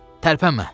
Tərpənmə!